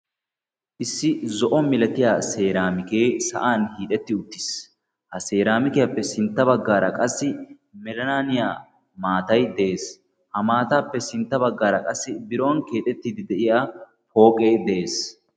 Issi zo'o milatiya seeraamikee sa'an hiixetti uttis. Ha seeraamikiyappe sintta baggaara qassi melanaaniya maatayi de'es. Ha maataappe sintta baggaara qassi biron keexettiiddi de'iya pooqee de'es.